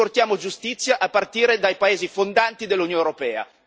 Riportiamo giustizia a partire dai paesi fondanti dell'Unione europea.